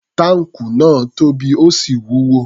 Táǹkù náà tóbi, ó sì wúwo.